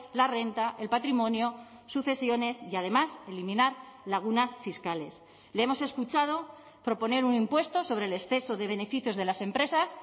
la renta el patrimonio sucesiones y además eliminar lagunas fiscales le hemos escuchado proponer un impuesto sobre el exceso de beneficios de las empresas